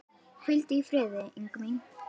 Hvíldu í friði, Inga mín.